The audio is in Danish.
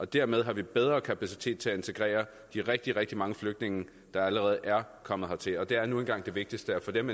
dermed har vi bedre kapacitet til at integrere de rigtig rigtig mange flygtninge der allerede er kommet hertil og det er nu engang det vigtigste at få dem